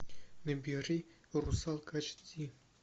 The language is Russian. набери русалка эйч ди